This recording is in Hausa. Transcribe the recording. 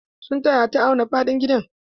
Sun taya ta auna faɗin gidan.